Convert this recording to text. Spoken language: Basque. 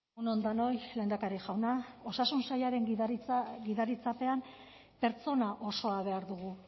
egun on denoi lehendakari jauna osasun sailaren gidaritzapean pertsona osoa behar dugu